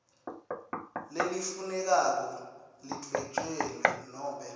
lelifunekako lidvwetjelwe nobe